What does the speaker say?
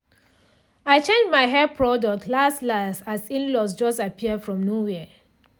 i change my hair product last-last as in-laws just appear from nowhere.